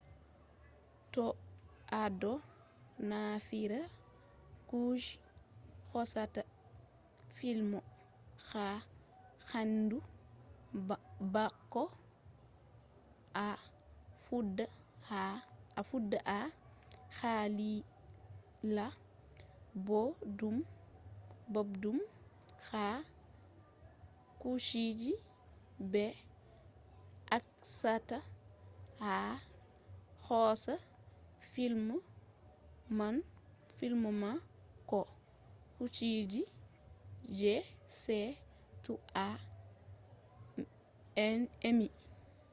to a ɗo naftira kuje hosata fim ha hendu bako a fuɗɗa a hakkila boɗɗum ha kujeji ɓe acchata a hosa fim man ko kujeji jei sai to a emi